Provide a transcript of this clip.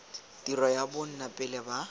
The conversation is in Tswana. tiro ya bona pele ba